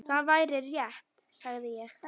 Það væri rétt, sagði ég.